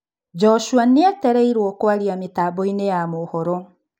Joshua nĩetereirwo kũaria mĩtamboinĩ ya mohoro.